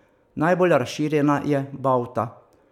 Najbolj razširjena je bauta.